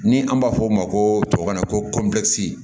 Ni an b'a fɔ o ma ko tubabukan na ko